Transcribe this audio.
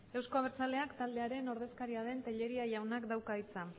euzko abertzaleak taldearen ordezkariaren tellería jaunak dauka hitza